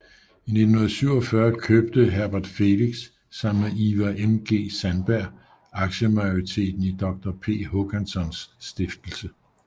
I 1947 købte Herbert Felix sammen med Ivar MG Sandberg aktiemajoriteten i Doktor P Håkanssons stiftelse